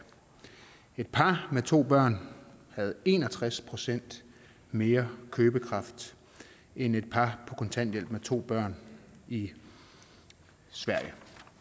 et par med to børn havde en og tres procent mere købekraft end et par på kontanthjælp med to børn i sverige